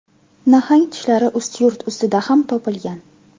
Nahang tishlari Ustyurt ustida ham topilgan.